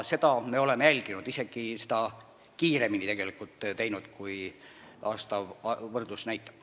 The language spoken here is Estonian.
Seda me oleme jälginud ja teinud seda isegi kiiremini, kui aastane võrdlus näitab.